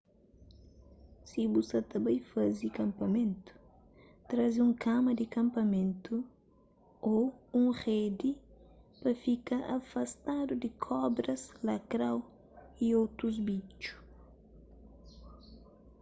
si bu sa ta bai faze kapamenu traze un kama di kanpamentu ô un redi pa fka afastadu di kobras lakrou y otus bitxu